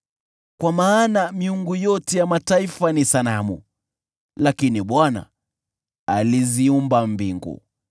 Kwa maana miungu yote ya mataifa ni sanamu, lakini Bwana aliziumba mbingu.